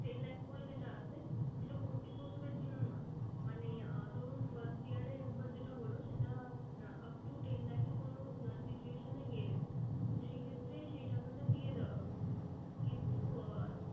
Ten lakh করে যেটা আছে সেটা প্রত্যেক বছরের জন্য নয়। মানে আহ ধরুন first year এ একবার যেটা হলো সেটা আহ up to lakh এ কোনো situation এ গেলেন তো সে ক্ষেত্রে সেই টাকাটা দিয়ে দেওয়া হচ্ছে। কিন্তু আহ